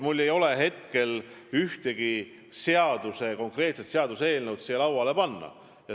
Mul ei ole ühtegi konkreetset seaduseelnõu siia lauale panna.